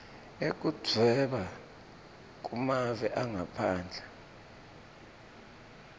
yekudvweba kumave angaphandle